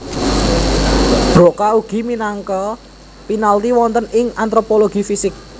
Broca ugi minangka panaliti wonten ing antropologi fisik